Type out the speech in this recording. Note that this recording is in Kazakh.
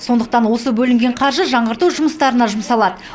сондықтан осы бөлінген қаржы жаңғырту жұмыстарына жұмсалады